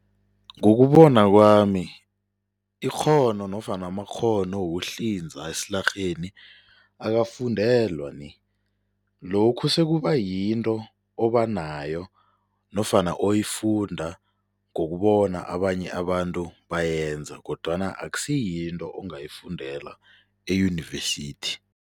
Ngokubona kwami ikghono nofana amakghono wokuhlinza esilarheni akafundelwa ni, lokhu sekubayinto abanayo nofana oyifunda ngokubona abanye abantu bayenza kodwana akusiyinto ongayifudela eyunivesithi.